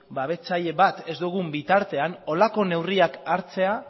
babestzaile bat ez dugun bitartean horrelako neurriak hartzea